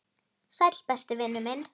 Sæll, besti vinur minn.